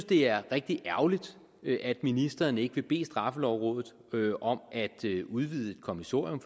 det er rigtig ærgerligt at ministeren ikke vil bede straffelovrådet om at udvide kommissorium